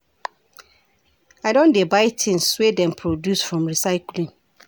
I don dey buy tins wey dem produce from recycling.